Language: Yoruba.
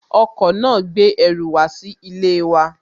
Ọkọ̀ náà gbé ẹrù wá sí ilé wa